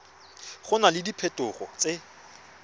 go na le diphetogo tse